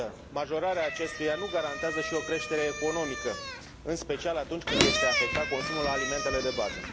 Majorarea acestuia nu garantează, însă, și o creștere economică, în special atunci când este afectat consumul alimentelor de bază.